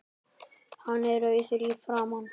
Hann er rauður í framan.